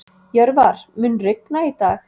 Jörvar, mun rigna í dag?